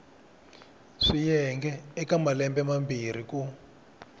swiyenge eka malembe mambirhi ku